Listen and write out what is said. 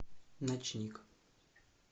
ночник